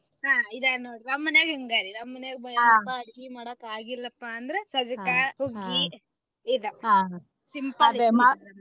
ಹಾ ಇದ ನೋಡ್ರಿ ನಮ ಮನ್ಯಾಗು ಹಿಂಗ ರೀ ಅಡಗಿ ಮಾಡಾಕ ಆಗಿಲ್ಲಾಪಾ ಅಂದ್ರ ಸಜ್ಜಕಾ ಹುಗ್ಗಿ .